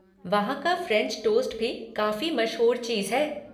वहाँ का French toast भी काफ़ी मशहूर चीज़ है।